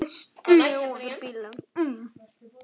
Við stigum út úr bílnum.